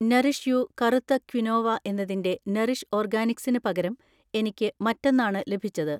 Nourish You കറുത്ത quinoa എന്നതിന്‍റെ Nourish ഓർഗാനിക്സിന് പകരം എനിക്ക് മറ്റൊന്നാണ് ലഭിച്ചത്